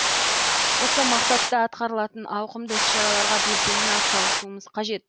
осы мақсатта атқарылатын ауқымды іс шараларға белсене ат салысуымыз қажет